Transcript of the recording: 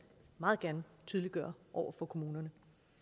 meget gerne tydeliggøre over for kommunerne